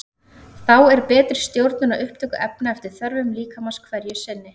Þá er betri stjórnun á upptöku efna eftir þörfum líkamans hverju sinni.